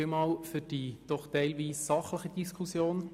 Vielen Dank für die doch teilweise sachliche Diskussion.